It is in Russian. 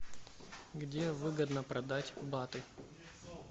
где выгодно продать баты